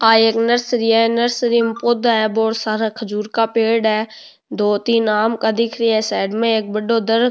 आ एक नर्सरी है ई नर्सरी में पौधा है बहोत सारा खजूर का पेड़ है दो तीन आम का दिख रिया है साइड में एक दर --